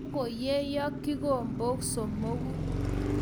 Kagoyeyo kikombok somogu